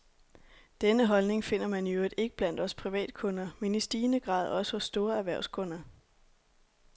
Denne holdning finder man i øvrigt ikke blot blandt os privatkunder, men i stigende grad også hos store erhvervskunder.